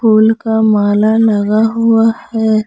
Full का माला लगा हुआ है।